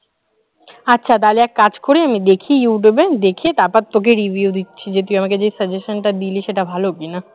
আচ্ছা তাহলে একটা কাজ করি আমি দেখি youtube এ, দেখে তারপরে তোকে review দিচ্ছি যে তুই আমাকে যে suggestion টা দিলি সেটা ভালো কিনা?